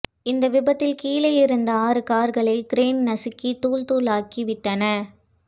இந்த விபத்தில் கீழே இருந்த ஆறு கார்களை கிரேன் நசுக்கி தூள் தூளாக்கிவிட்டன